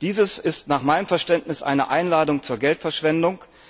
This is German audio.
Dies ist nach meinem Verständnis eine Einladung zur Geldverschwendung.